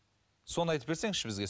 соны айтып берсеңізші бізге